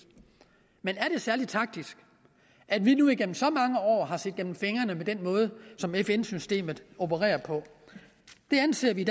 men er det særlig taktisk at vi nu igennem så mange år har set igennem fingre med den måde som fn systemet opererer på det anser vi